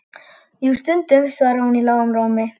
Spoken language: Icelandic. Jú, stundum, svaraði hún í lágum rómi.